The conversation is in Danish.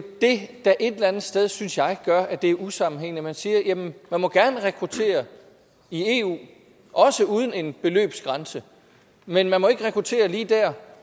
det der et eller andet sted synes jeg gør at det er usammenhængende man siger jamen der må gerne rekrutteres i eu også uden en beløbsgrænse men der må ikke rekrutteres lige der